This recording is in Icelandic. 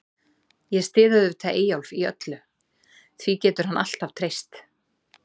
Ég styð auðvitað Eyjólf í öllu, því getur hann alltaf treyst.